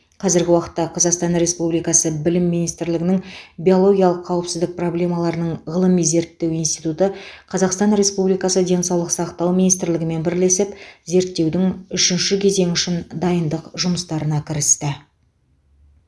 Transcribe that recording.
қазіргі уақытта қазақстан республикасы білім министрлігінің биологиялық қауіпсіздік проблемаларының ғылыми зерттеу институты қазақстан республикасы денсаулық сақтау министрлігімен бірлесіп зерттеудің үшінші кезеңі үшін дайындық жұмыстарына кірісті